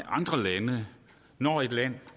andre lande når et land